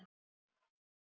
Sörli minn!